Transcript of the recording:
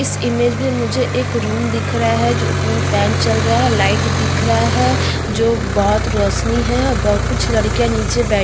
इस इमेज में मुझे एक रूम दिख रहा है जो उपर में फैन चल रहा है लाइट दिख रहा है जो बोत रौशनी है ब कुछ लड़कियाँ नीचे बैठ --